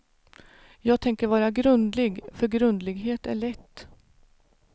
Jag tänker vara grundlig, för grundlighet är lätt.